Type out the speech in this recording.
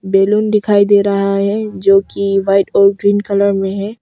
Balloon दिखाई दे रहा है जो कि व्हाइट और ग्रीन कलर में है।